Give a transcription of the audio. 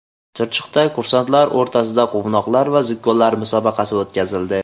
Chirchiqda kursantlar o‘rtasida Quvnoqlar va zukkolar musobaqasi o‘tkazildi.